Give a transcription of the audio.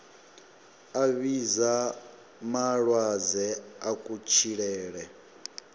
a vhidza malwadze a kutshilele